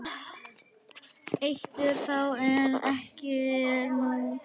Eitur þá en ekki nú?